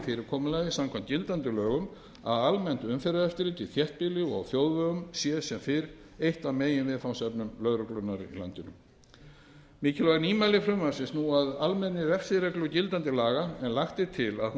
fyrirkomulagi samkvæmt gildandi lögum að almennt umferðareftirlit í þéttbýli og á þjóðvegum sé sem fyrr eitt af meginviðfangsefnum lögreglunnar í landinu mikilvæg nýmæli frumvarpsins snúa að almennri refsireglu gildandi laga en lagt er til að